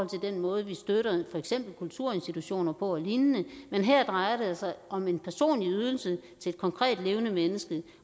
til den måde vi støtter for eksempel kulturinstitutioner og lignende men her drejer det sig om en personlig ydelse til et konkret levende menneske